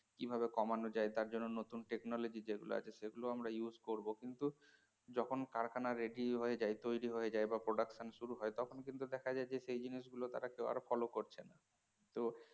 কিভাবে কমানো যায় তার জন্য নতুন technology যেগুলা আছে সেগুলো আমরা use করব কিন্তু যখন কারখানা ready হয়ে যায় তৈরি হয়ে যায় এবং production শুরু হয়ে যায় তখন কিন্তু দেখা যায় যে সেই জিনিসগুলো তারা কেউ আর follow করছে না